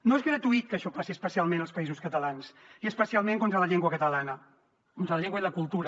no és gratuït que això passi especialment als països catalans i especialment contra la llengua catalana contra la llengua i la cultura